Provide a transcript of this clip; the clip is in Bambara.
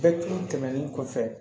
Bɛɛ tun tɛmɛnen kɔfɛ